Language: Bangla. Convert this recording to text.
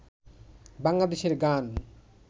বাংলাদেশের গান